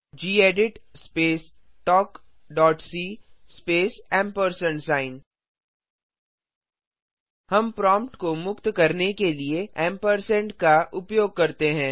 gedit space talk dot C space amp sign हम prompt को मुक्त करने के लिए एम्परसैंड एएमपी का उपयोग करते हैं